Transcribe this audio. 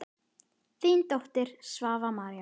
Þín dóttir, Svava María.